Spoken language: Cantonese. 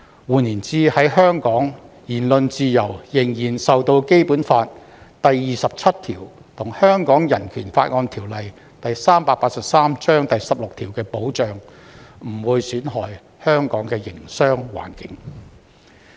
換言之，在香港，言論自由仍受《基本法》第二十七條和《香港人權法案條例》第十六條的保障，不會損害香港的營商環境。